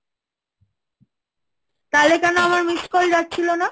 তাহলে কেন আমার miss call যাচ্ছিল না।